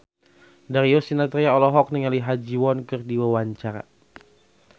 Darius Sinathrya olohok ningali Ha Ji Won keur diwawancara